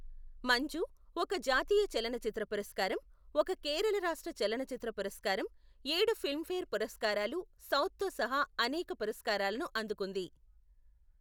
మంజు, ఒక జాతీయ చలనచిత్ర పురస్కారం, ఒక కేరళ రాష్ట్ర చలనచిత్ర పురస్కారం, ఏడు ఫిల్మ్ఫేర్ పురస్కారాలు సౌత్ తో సహా అనేక పురస్కారాలను అందుకుంది.